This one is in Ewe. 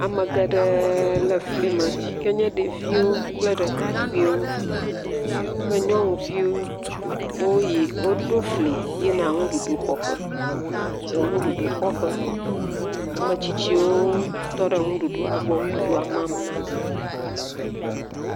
Ame geɖe le fli yike nye ɖevi kple ɖekakpuiviwo kple nyɔnu viwo. Woɖo fli, wò yi, woɖo fli yina nuɖuɖu xɔ ƒe. Ame tsitsiwo tɔ ɖe nuɖuɖua gbɔ nuɖuɖua mam nawò.